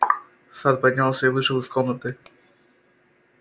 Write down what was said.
сатт поднялся и вышел из комнаты